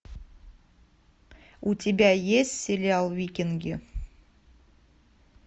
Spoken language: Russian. у тебя есть сериал викинги